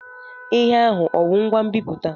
Ihe ahụ ọ wụ ngwa nbiputa?